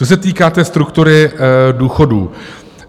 Co se týká té struktury důchodů.